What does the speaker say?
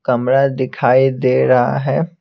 कमरा दिखाई दे रहा है।